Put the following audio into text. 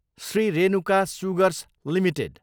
Shri Renuka sugars Ltd